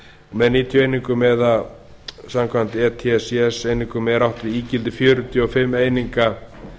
með níutíu einingum eða samkvæmt etcs einingum er átt við ígildi fjörutíu og fimm eininga